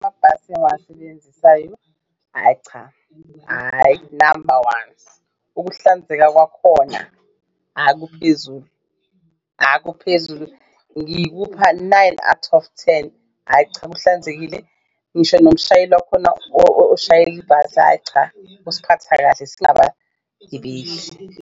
Amabhasi engiwasebenzisayo hhayi cha, hhayi number ones ukuhlanzeka kwakhona ah kuphezulu, ah kuphezulu ngikupha nine out of ten hhayi cha kuhlanzekile ngisho nomshayeli wakhona oshayela ibhasi ayi cha usiphatha kahle singabagibeli.